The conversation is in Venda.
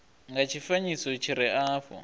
nga tshifanyiso tshi re afho